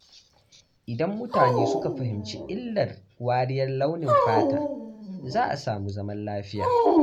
Idan mutane suka fahimci illar wariyar launin fata, za a samu zaman lafiya.